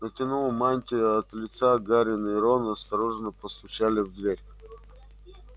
натяну мантии от лица гарри и рон осторожно постучали в дверь